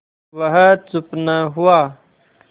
वह चुप न हुआ